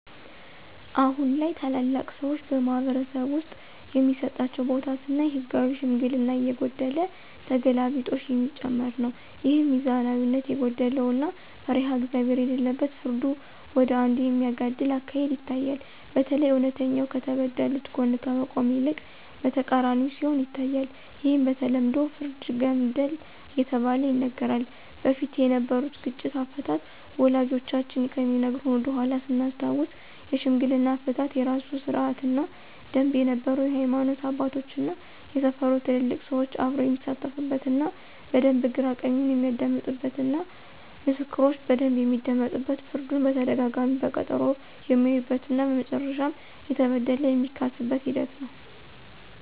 አሁን ላይ ታላላቅ ሰዎች በማኅበረሰብ ውስጥ የሚሰጣቸው ቦታ ስናይ ህጋዊ ሽምግልና እየጎደለ ተገላቢጦሽ የሚጨመር ነው። ይህም ሚዛናዊነት የጎደለው እና ፈሪሃ እግዚአብሄር የሌለበት ፍርዱ ወደ አንዱ የሚያጋድል አካሄድ ይታያል። በተለይ እውነተኛ ከተበደሉት ጎን ከመቆም ይልቅ በተቃራኒው ሲሆን ይታያል። ይህም በተለምዶ ፍርደ ገምድል እየተባለ ይነገራል። በፊት የነበሩት ግጭት አፈታት ወላጆቻችን ከሚነግሩን ወደኃላ ስናስታውስ የሽምግልና አፈታት የራሱ ስርአት እና ደምብ ነበረው የሀይማኖት አባቶች እና የሰፈሩ ትልልቅ ሰዎች አብረው የሚሳተፉበት እና በደንብ ግራ ቀኙን የሚያደምጡበት እና ምስክሮች በደንብ የሚደመጡበት ፍርዱን በተደጋጋሚ በቀጠሮ የሚያዩበት እና መጨረሻም የተበደለ የሚካስበት ሂደት ነው።